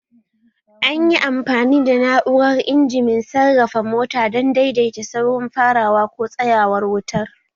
An yi amfani da na'urar injimin sarrafa mota don daidaita saurin farawa ko tsayawar wutar